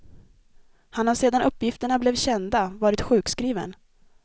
Han har sedan uppgifterna blev kända varit sjukskriven.